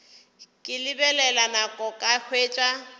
ke lebelela nako ka hwetša